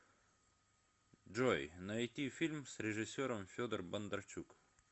джой найти фильм с режисером федор бондарчук